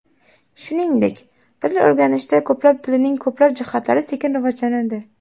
Shuningdek, til o‘rganishda ko‘plab tilning ko‘p jihatlari sekin rivojlanadi.